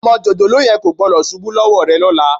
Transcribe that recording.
Ọmọ jòjòló yẹn kò gbọ́dọ̀ ṣubú lọ́wọ́ rẹ lọ́la